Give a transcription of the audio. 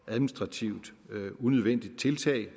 og administrativt unødvendigt tiltag